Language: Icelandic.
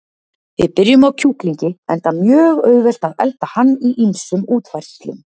Við byrjum á kjúklingi, enda mjög auðvelt að elda hann í ýmsum útfærslum.